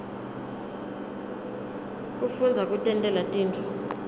kufundza kutentela tintfo